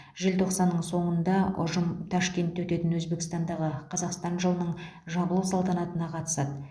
желтоқсанның соңында ұжым ташкентте өтетін өзбекстандағы қазақстан жылының жабылу салтанатына қатысады